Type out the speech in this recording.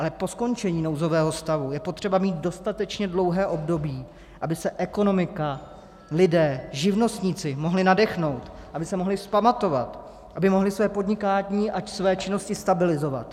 Ale po skončení nouzového stavu je potřeba mít dostatečně dlouhé období, aby se ekonomika, lidé, živnostníci mohli nadechnout, aby se mohli vzpamatovat, aby mohli své podnikání a své činnosti stabilizovat.